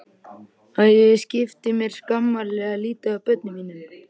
Að ég skipti mér skammarlega lítið af börnum mínum.